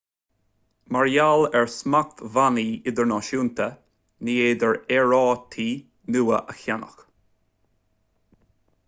mar gheall ar smachtbhannaí idirnáisiúnta ní féidir aerárthaí nua a cheannach